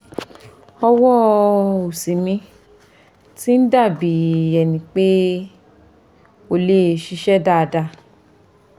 ọwọ́ òsì mi ti ń dà bí ẹni pé kò lè ṣiṣẹ́ dáadáa